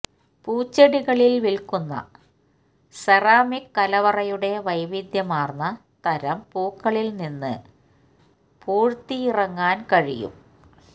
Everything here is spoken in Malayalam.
പൂച്ചെടികളിൽ വിൽക്കുന്ന സെറാമിക് കലവറയുടെ വൈവിധ്യമാർന്ന തരം പൂക്കളിൽ നിന്ന് പൂഴ്ത്തിയിറങ്ങാൻ കഴിയും